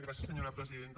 gràcies senyora presidenta